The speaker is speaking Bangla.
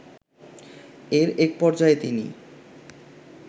এর এক পর্যায়ে তিনি